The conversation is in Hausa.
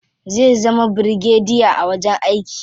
Zai zama birigadiya a wajen aiki.